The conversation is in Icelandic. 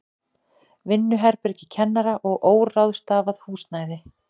Vinnuherbergi kennara og óráðstafað húsnæði.